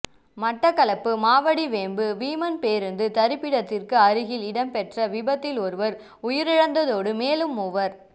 மட்டக்களப்பு மாவடிவேம்பு வீமன் பேருந்து தரிப்பிடத்திற்கு அருகில் இடம்பெற்ற விபத்தில் ஒருவர் உயிரிழந்ததோடு மேலும் மூவர்